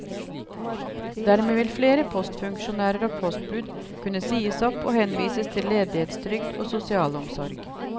Dermed vil flere postfunksjonærer og postbud kunne sies opp og henvises til ledighetstrygd og sosialomsorg.